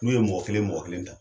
N'u ye mɔgɔ kelen mɔgɔ kelen ta.